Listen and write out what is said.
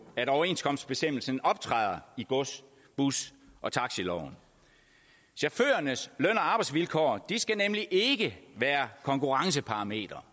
at overenskomstbestemmelsen optræder i gods bus og taxiloven chaufførernes løn og arbejdsvilkår skal nemlig ikke være konkurrenceparametre